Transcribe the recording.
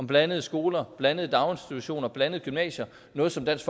blandede skoler blandede daginstitutioner og blandede gymnasier noget som dansk